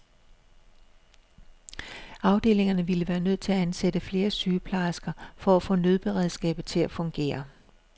Afdelingerne ville være nødt til at ansætte flere sygeplejersker for at få nødberedskabet til at fungere.